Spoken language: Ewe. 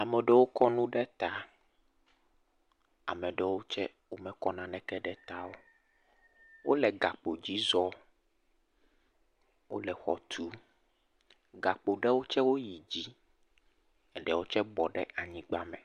Ame aɖewo tse kɔ nu ɖe ta. Ame aɖewo tɔ tse mekɔ nu ɖe ta o. Wòle gakpo dzi zɔm. Wòle xɔ tum. Gakpo ɖewo tse yi dzi, eɖewo tse bɔ ɖe anyigba me.